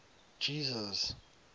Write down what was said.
jesus